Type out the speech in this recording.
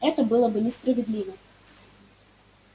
это было бы несправедливо